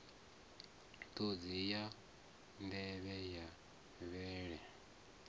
ṱhodzi ya nḓevhe ya vhele